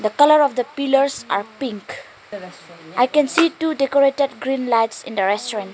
The colour of the pillars are pink I can see two decorated green lights in a restaurant.